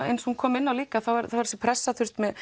eins og hún kom inn á líka er þessi pressa